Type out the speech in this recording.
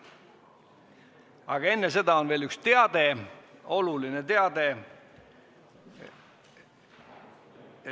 Aga enne seda on veel üks oluline teade.